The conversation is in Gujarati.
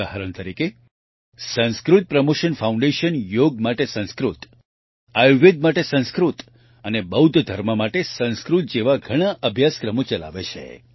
ઉદાહરણ તરીકે સંસ્કૃત પ્રમોશન ફાઉન્ડેશન યોગ માટે સંસ્કૃત આયુર્વેદ માટે સંસ્કૃત અને બૌદ્ધ ધર્મ માટે સંસ્કૃત જેવા ઘણા અભ્યાસક્રમો ચલાવે છે